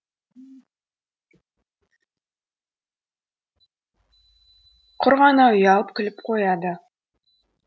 құр ғана ұялып күліп қояды